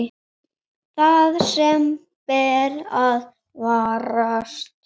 Það sem ber að varast